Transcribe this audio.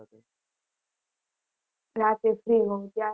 રાત્રે free હોઉં ત્યારે